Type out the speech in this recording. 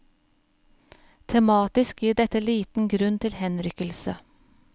Tematisk gir dette liten grunn til henrykkelse.